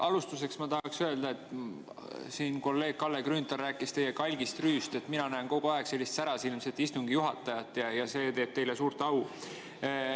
Alustuseks ma tahaks öelda, et kuigi kolleeg Kalle Grünthal rääkis teie kalgist rüüst, siis mina näen kogu aeg sellist särasilmset istungi juhatajat ja see teeb teile suurt au.